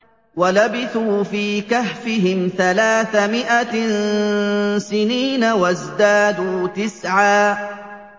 وَلَبِثُوا فِي كَهْفِهِمْ ثَلَاثَ مِائَةٍ سِنِينَ وَازْدَادُوا تِسْعًا